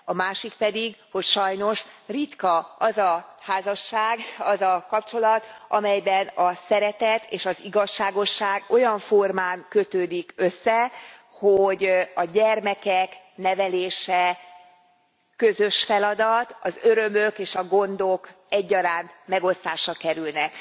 A másik pedig, hogy sajnos ritka az a házasság, az a kapcsolat, amelyben a szeretet és az igazságosság olyan formán kötődik össze, hogy a gyermekek nevelése közös feladat, az örömök és a gondok egyaránt megosztásra kerülnek.